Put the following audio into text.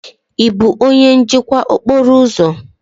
Ị bụ onye njikwa okporo ụzọ?